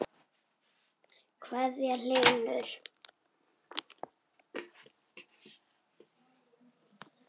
kveðja, Hlynur.